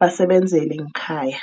basebenzele ngekhaya.